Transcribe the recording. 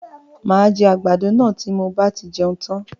Máa jẹ àgbàdo náà tí mo bá tí jẹun tan.